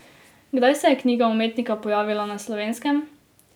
Kdaj se je knjiga umetnika pojavila na Slovenskem?